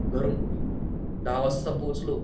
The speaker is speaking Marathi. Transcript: घरून दहा वाजता पोचलो